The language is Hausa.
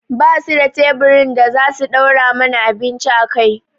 Ba su da teburin da za su ɗora mana abinci a kai